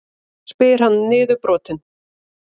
spyr hann niðurbrotinn.